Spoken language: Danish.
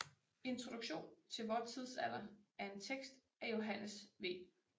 Introduktion til vor Tidsalder er en tekst af Johannes V